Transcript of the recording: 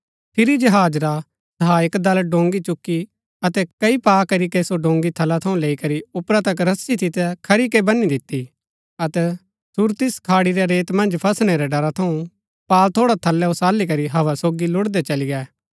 फिरी जहाज रा सहायक दल डोंगी चुकी अतै कई पा करीके सो डोंगी थला थऊँ लैई करी ऊपरा तक रस्सी सितै खरी के बनी दिती अतै सुरतिस खाड़ी रै रेत मन्ज फसणै रै ड़रा थऊँ पाल थोड़ा थलै ओसाली करी हव्वा सोगी लुड़दै चली गै